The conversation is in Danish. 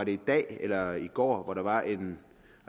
i dag eller i går at der var en